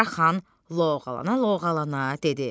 Qaraxan loğvalana-loğvalana dedi: